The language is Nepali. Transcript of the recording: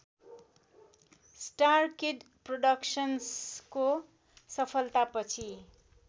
स्टारकिड प्रोडक्सन्स्को सफलतापछि